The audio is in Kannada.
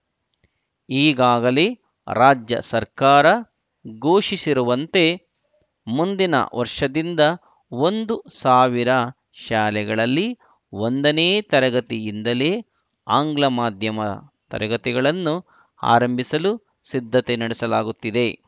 ಈಗಾಗಲೇ ರಾಜ್ಯ ಸರ್ಕಾರ ಘೋಷಿಸಿರುವಂತೆ ಮುಂದಿನ ವರ್ಷದಿಂದ ಒಂದು ಸಾವಿರ ಶಾಲೆಗಳಲ್ಲಿ ಒಂದನೇ ತರಗತಿಯಿಂದಲೇ ಆಂಗ್ಲ ಮಾಧ್ಯಮ ತರಗತಿಗಳನ್ನು ಆರಂಭಿಸಲು ಸಿದ್ಧತೆ ನಡೆಸಲಾಗುತ್ತಿದೆ